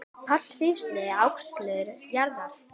Páll hrífst af ávöxtum jarðar.